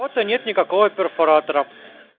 рте нет никакого перфоратора